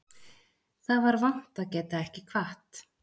Það var vont að geta ekki kvatt